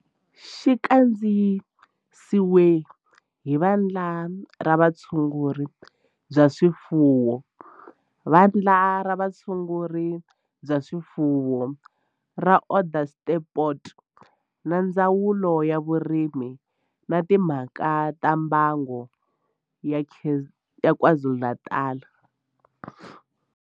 Xi kandziyisiwe hi Vandla ra Vutshunguri bya swifuwo ra Vandla ra Vutshunguri bya swifuwo ra Onderstepoort na Ndzawulo ya Vurimi na Timhaka ta Mbango ya KwaZulu-Natal.